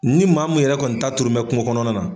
Ni maamu yɛrɛ kɔni ta turunbɛ kungo kɔnɔna na.